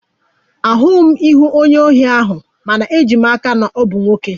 Ahụghị m ihu onye ohi ahụ, mana eji m n'aka na ọ bụ nwoke